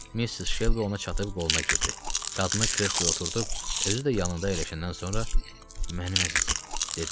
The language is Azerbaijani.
Missis Şelbi ona çatıb qoluna girdi, qadını kresloya oturdub özü də yanında əyləşəndən sonra “mənim əzizim” dedi.